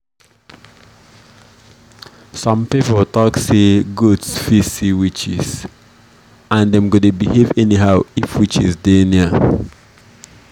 some people talk say goats fit see witches and dem go dey behave anyhow if witches dey near.